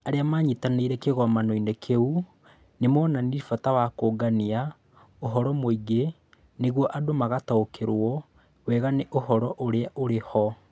Arĩa maanyitanĩire kĩgomano-inĩ kĩu nĩ moonanirie bata wa kũũngania ũhoro mũingĩ nĩguo andũ mataũkĩrũo wega nĩ ũhoro ũrĩa ũrĩ ho.